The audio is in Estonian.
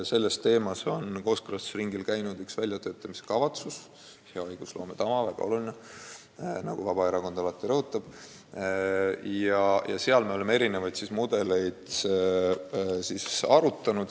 Meil on kooskõlastusringil käinud üks väljatöötamiskavatsus – järgime head õigusloome tava, mis on väga oluline, nagu Vabaerakond alati rõhutab – ja selle raames me oleme erinevaid mudeleid arutanud.